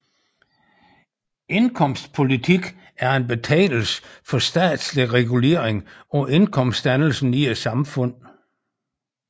Indkomstpolitik er en betegnelse for statslig regulering af indkomstdannelsen i et samfund